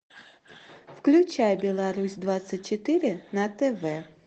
включай беларусь двадцать четыре на тв